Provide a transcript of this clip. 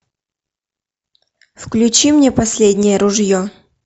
включи мне последнее ружье